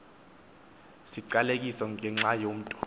siqalekiso ngenxa yomntu